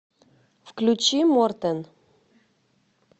включи мортен